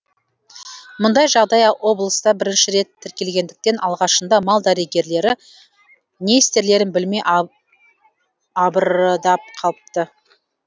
мұндай жағдай облыста бірінші рет тіркелгендіктен алғашында мал дәрігерлері не істерлерін білмей абырдап қалыпты